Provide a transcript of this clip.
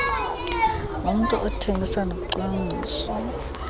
nommntu othengisa nocwangcisa